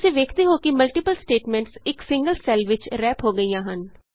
ਤੁਸੀਂ ਵੇਖਦੇ ਹੋ ਕਿ ਮਲਟੀਪਲ ਸਟੈਟਮੈਂਟਸ ਇਕ ਸਿੰਗਲ ਸੈੱਲ ਵਿਚ ਰੈਪ ਹੋ ਗਈਆਂ ਹਨ